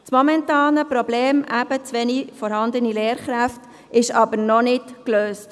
Das momentane Problem – eben zu wenige Lehrkräfte – ist aber noch nicht gelöst.